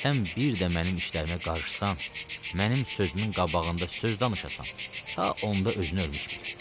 Sən bir də mənim işlərimə qarışsan, mənim sözümün qabağında söz danışasan, ta onda özünü ölmüş bil.